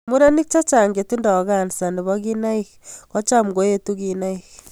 Ing no, murenik chechang che tindoi cancer nebo kinaik ko cham koetu kinaik.